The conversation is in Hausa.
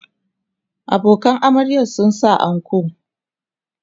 abokanan amaryar sun sa anko